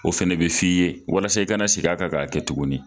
O fɛnɛ bi f'i ye walasa i kana segin a kan k'a kɛ tuguni